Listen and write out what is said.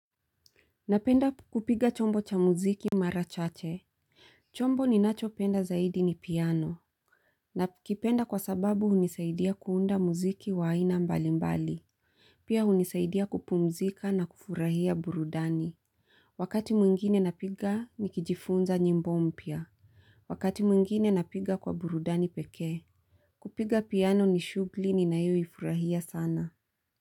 Napenda kupiga chombo cha muziki mara chache. Chombo ninacho penda zaidi ni piano. Nakipenda kwa sababu hunisaidia kuunda muziki wa aina mbali mbali. Pia unisaidia kupumzika na kufurahia burudani. Wakati mwingine napiga nikijifunza nyimbo mpya. Wakati mwingine napiga kwa burudani pekee. Kupiga piano ni shughuli ninayo ifurahia sana.